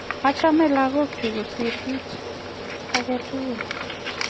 Achame lagok chuk kosir kit ake tukul.